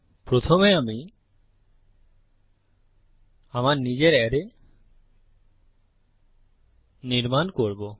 প্রথমে আমি আমার নিজের অ্যারে নির্মাণ করবো